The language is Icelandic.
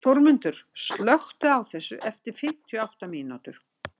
Þórmundur, slökktu á þessu eftir fimmtíu og átta mínútur.